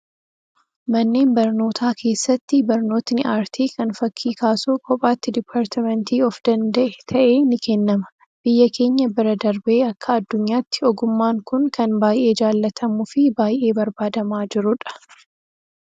Manneen barnootaa keessatti barnootni aartii kan fakkii kaasuu kophaatti diippartmentii of danda'e ta'ee ni kennama. Biyya keenya bira darbee akka addunyaatti ogummaan kun kan baay'ee jaallatamuu fi baay'ee barbaadamaa jirudha.